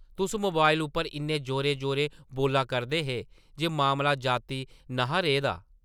तुस मोबाइल उप्पर इन्ने जोरें-जोरें बोल्ला करदे हे जे मामला ज़ाती न’हा रेह् दा ।